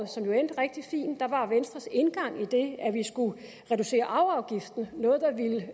som jo endte rigtig fint var venstres indgang i det at vi skulle reducere arveafgiften noget der ville